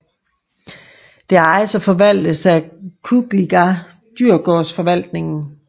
Det ejes og forvaltes af Kungliga Djurgårdsförvaltningen